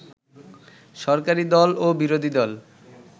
সরকারি দল ও বিরোধীদল